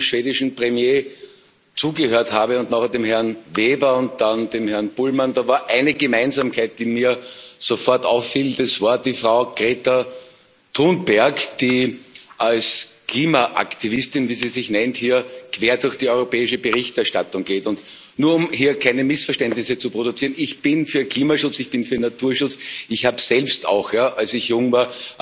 Als ich dem schwedischen Premierminister zugehört habe und anschließend dem Herrn Weber und dann dem Herrn Bullmann, war da eine Gemeinsamkeit, die mir sofort auffiel Es war die Frau Greta Thunberg, die als Klimaaktivistin, wie sie sich nennt, hier quer durch die europäische Berichterstattung geht. Und nur, um hier keine Missverständnisse zu produzieren Ich bin für Klimaschutz, ich bin für Naturschutz, ich habe selbst auch, als ich jung war,